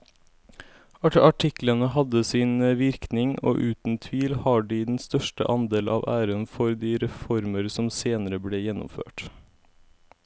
Artiklene hadde sin virkning og uten tvil har de den største andel av æren for de reformer som senere ble gjennomført.